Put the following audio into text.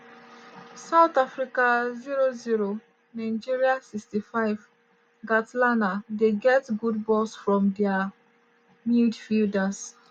south africa 0-0 nigeria 65' kgatlana dey get good balls from dia midfielders.